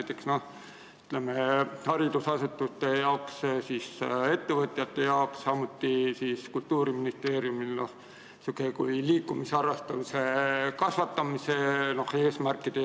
Tuleks kaasata näiteks haridusasutusi, ettevõtjaid, samuti Kultuuriministeeriumi, et täita liikumisharrastuse kasvatamise eesmärke.